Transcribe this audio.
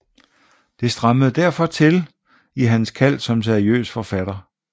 Det strammede derfor til i hans kald som seriøs forfatter